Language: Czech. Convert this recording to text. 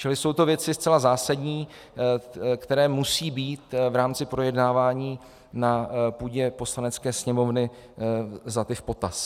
Čili jsou to věci zcela zásadní, které musí být v rámci projednávání na půdě Poslanecké sněmovny vzaty v potaz.